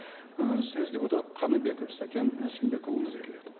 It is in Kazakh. ы сөз депутат қаныбеков сәкен әсембекұлына беріледі